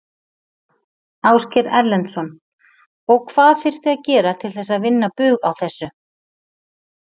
Ásgeir Erlendsson: Og hvað þyrfti að gera til þess að vinna bug á þessu?